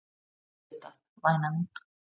Auðvitað væna mín.